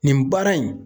Nin baara in